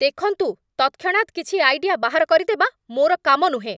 ଦେଖନ୍ତୁ, ତତ୍‌କ୍ଷଣାତ୍ କିଛି ଆଇଡିଆ ବାହାର କରିଦେବା ମୋର କାମ ନୁହେଁ।